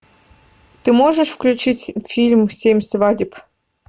ты можешь включить фильм семь свадеб